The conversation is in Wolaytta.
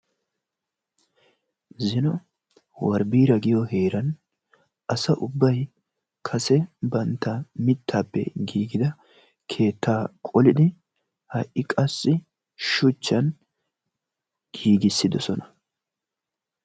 Zino warbiira giyo heeran asa ubbay kase bantta mittaappe giigida keettaa qolidi ha'i qassi shuchchan giggissidoosona.